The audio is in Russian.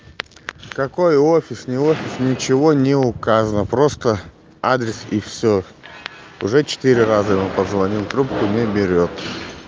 какой офисный офис ничего не указано просто адрес и всё уже четыре раза ему позвонил трубку не берёт